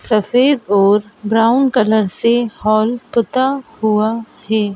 सफेद और brown colour से हाल पुता हुआ है।